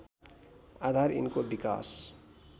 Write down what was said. आधार यिनको विकास